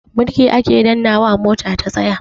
Birki ake dannnawa mota ta tsaya.